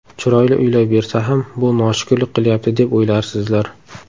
Chiroyli uylar bersa ham, bu noshukrlik qilyapti, deb o‘ylarsizlar.